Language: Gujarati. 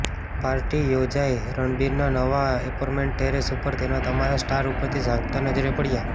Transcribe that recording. પાર્ટી યોજાઈ રણબીરના નવા ઍપાર્ટમેંટના ટૅરેસ ઉપર અને તમામ સ્ટાર્સ ઉપરથી ઝાંકતા નજરે પડ્યાં